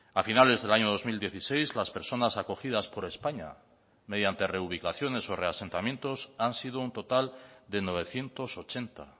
a finales del año dos mil dieciséis las personas acogidas por españa mediante reubicaciones o reasentamientos han sido un total de novecientos ochenta